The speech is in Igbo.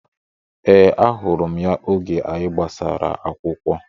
Ee, ahụrụ m ya oge anyị gbasara akwụkwọ